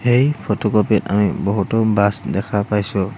এই ফটোকপি ত আমি বহুতো বাছ দেখা পাইছোঁ।